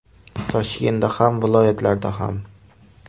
Toshkentda ham, viloyatlarda ham.